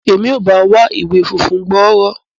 Emi a ba ọ wá ìwé fúnfún gbọrọ.